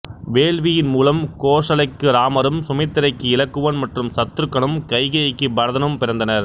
வேள்வியின் மூலம் கோசலைக்கு இராமரும் சுமித்திரைக்கு இலக்குவன் மற்றும் சத்துருக்கனும் கைகேயிக்கு பரதனும் பிறந்தனர்